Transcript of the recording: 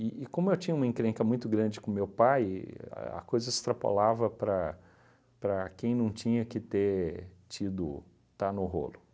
e como eu tinha uma encrenca muito grande com meu pai, a a coisa extrapolava para para quem não tinha que ter tido, estar no rolo.